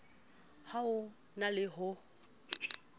ha ho na le ho